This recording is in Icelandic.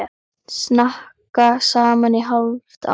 Snakka saman í hálft ár.